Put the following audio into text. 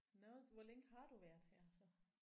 Nåh hvor længe har du været her så?